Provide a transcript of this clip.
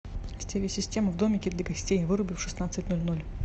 стереосистема в домике для гостей выруби в шестнадцать ноль ноль